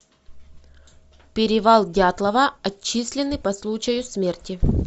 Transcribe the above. перевал дятлова отчислены по случаю смерти